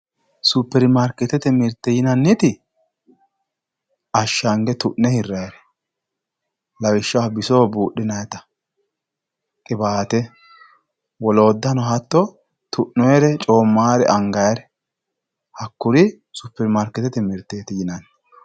superimaarkeetete mirtee yinannite ashshange tu'ne hirrannire lawishshaho bisoho buudhinanita qiwaate woloottano hatto tu'noonnire coommannore angannire hakkurisuperimaarkeetete mirtee yinanni.